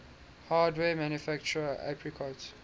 hardware manufacturer apricot